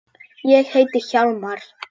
Ég heiti Hjálmar